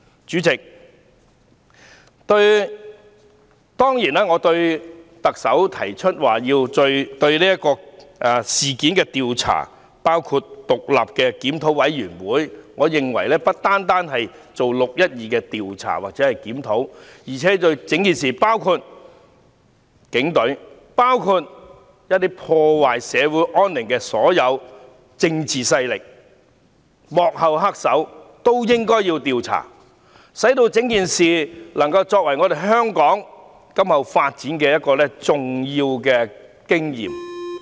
主席，當然，特首提出就這事件進行調查，包括成立獨立檢討委員會，我認為不單要就"六一二"進行調查或檢討，而且對各方面，包括警隊、破壞社會安寧的所有政治勢力和幕後黑手，都應該要調查，使整件事件能夠作為香港今後發展重要的經驗。